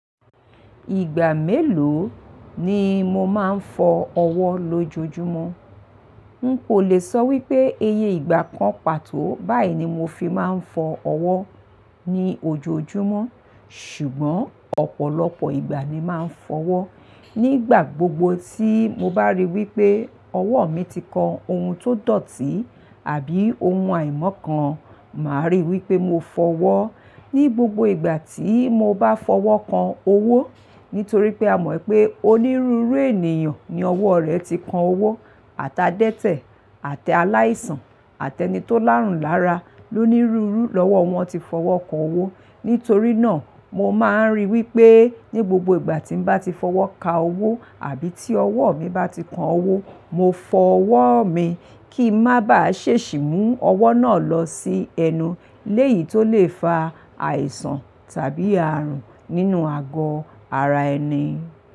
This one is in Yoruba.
Ìgbà mélòó ni mo máa ń fọ ọwọ́ lójoojúmọ́? N kò le sọ wípé eye ìgbà kan pàtó báyìí ni mo fi máa ń fọ ọwọ́ ni ojoojúmọ́. Ṣùgbọ́n ọ̀pọ̀lọpọ̀ ìgbà ni máa ń fọwọ́. Nígbà gbogbo tí mo bá rí wípé ọwọ́ mi ti kan ohun tó dọ̀tí àbí ohun àìmọ́ kan, màá rí wípé mo fọ wọ́. Ní gbogbo ìgbà tí mo bá fọwọ́ kan owó, nítorí pé a mọ̀ pé onírúurú ènìyàn ni ọwọ́ rẹ̀ ti kan owó, ata dẹ́tẹ̀, àti aláìsàn, àti ẹni tó láàrùn lára, ló nírúru lọ́wọ́ wọn ti fọwọ́ kan owó. Nítorí náà mo máa ń rí wípé ní gbogbo ìgbà tí n bá ti fọwọ́ ka owó àbí tí ọwọ́ mi bá ti kan owó, mo fọ ọwọ́ mi kí n má bàá ṣe ṣì mú ọwọ́ náà lọ sí ẹnu léyìí tó lè fa àìsàn tàbí àrùn nínú àgọ́ ara ẹni.